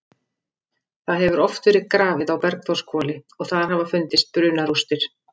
Það hefur oft verið grafið á Bergþórshvoli og þar hafa fundist brunarústir.